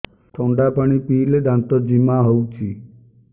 ଥଣ୍ଡା ପାଣି ପିଇଲେ ଦାନ୍ତ ଜିମା ହଉଚି